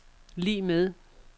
lig med